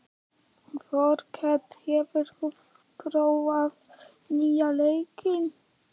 Þorkell, hefur þú prófað nýja leikinn?